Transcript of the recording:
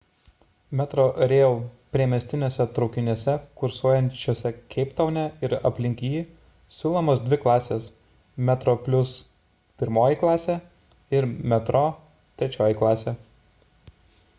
metrorail priemestiniuose traukiniuose kursuojančiuose keiptaune ir aplink jį siūlomos dvi klasės: metroplus pirmoji klasė ir metro trečioji klasė